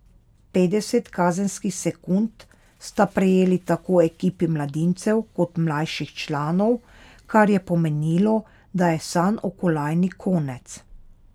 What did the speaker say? Petdeset kazenskih sekund sta prejeli tako ekipi mladincev kot mlajših članov, kar je pomenilo, da je sanj o kolajni konec.